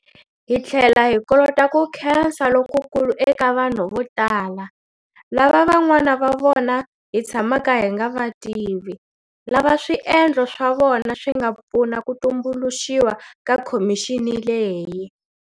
Hi tlhela hi kolota ku khensa lokukulu eka vanhu vo tala, lava van'wana va vona hi tshamaka hi nga va tivi, lava swiendlo swa vona swi nga pfuna ku tumbuluxiwa ka khomixini leyi.